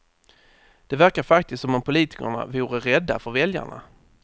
Det verkar faktiskt som om politikerna vore rädda för väljarna.